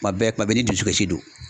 Kuma bɛɛ, kuma bɛɛ i ni dusukasi don.